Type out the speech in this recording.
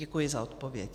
Děkuji za odpověď.